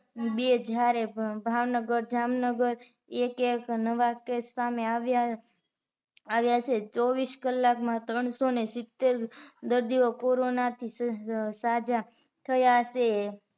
બે હજારે ભાવનગર, જામનગર એક -એક નવા case સામે આવ્યા આવ્યા છે ચોવીસ કલાકમાં ત્રણ સો ને સિતેર દર્દીઓ corona થી સાજા થયા છે